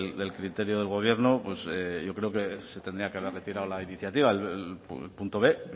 del criterio del gobierno pues yo creo que se tendría que haber retirado la iniciativa el punto b